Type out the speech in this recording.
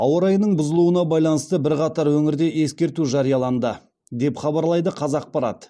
ауа райының бұзылуына байланысты бірқатар өңірде ескерту жарияланды деп хабарлайды қазақпарат